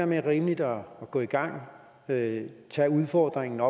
mere rimeligt at gå i gang tage tage udfordringen